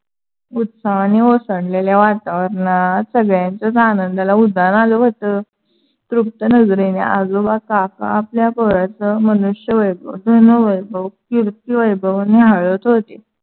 उत्साहाने ओसंडलेल्या वातावरणात सगळ्यांच्‍याच आनंदाला उधान आलं व्‍हतं. तृप्त नजरेने आजोबा काका आपल्या पोराचं मनुष्य वैभव, धन वैभव, कीर्ती वैभव न्‍याहळत होते.